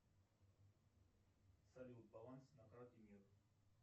салют баланс на карте мир